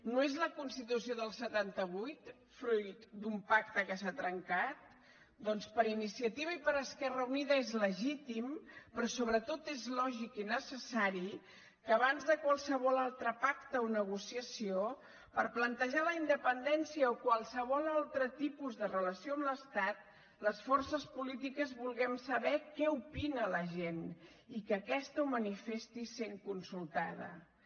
no és la constitució del setanta vuit fruit d’un pacte que s’ha trencat doncs per iniciativa i per esquerra unida és legítim però sobretot és lògic i necessari que abans de qualsevol altre pacte o negociació per plantejar la independència o qualsevol altre tipus de relació amb l’estat les forces polítiques vulguem saber què opina la gent i que aquesta ho manifesti sent consultada